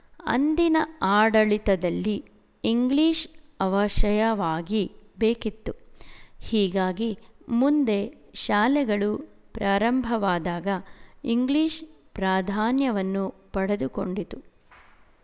ಅಂದಿನ ಆಡಳಿತದಲ್ಲಿ ಇಂಗ್ಲಿಶ ಅವಶಯವಾಗಿ ಬೇಕಿತ್ತು ಹೀಗಾಗಿ ಮುಂದೆ ಶಾಲೆಗಳು ಪ್ರಾರಂಭವಾದಾಗ ಇಂಗ್ಲಿಶ ಪ್ರಾಧಾನ್ಯವನ್ನು ಪಡೆದುಕೊಂಡಿತು